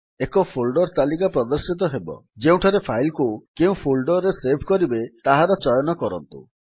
ଏକ ଫୋଲ୍ଡର୍ ତାଲିକା ପ୍ରଦର୍ଶିତ ହେବ ଯେଉଁଠାରେ ଫାଇଲ୍ କୁ କେଉଁ ଫୋଲ୍ଡର୍ ରେ ସେଭ୍ କରିବେ ତାହାର ଚୟନ କରନ୍ତୁ